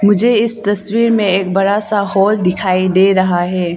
मुझे इस तस्वीर में एक बड़ा सा हॉल दिखाई दे रहा है।